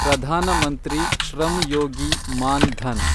Pradhan Mantri Shram Yogi Maandhan